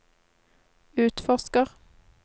utforsker